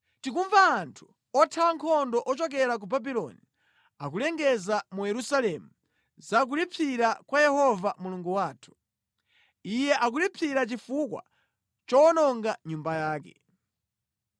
Tikumva anthu othawa nkhondo ochokera ku Babuloni akulengeza mu Yerusalemu za kulipsira kwa Yehova Mulungu wathu. Iye akulipsira chifukwa chowononga Nyumba yake.